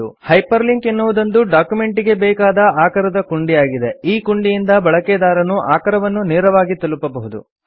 hyper link ಎನ್ನುವುದೊಂದು ಡಾಕ್ಯುಮೆಂಟಿಗೆ ಬೇಕಾದ ಆಕರದ ಕುಂಡಿಯಾಗಿದೆ ಈ ಕುಂಡಿಯಿಂದ ಬಳಕೆದಾರನು ಆಕರವನ್ನು ನೇರವಾಗಿ ತಲುಪಬಹುದು